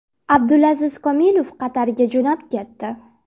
Abdulaziz Komilov Qatarga jo‘nab ketdi.